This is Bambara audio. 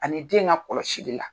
Ani den ka kɔlɔsili la